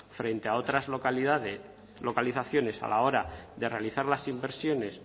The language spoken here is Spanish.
frente a otras localizaciones a la hora de realizar las inversiones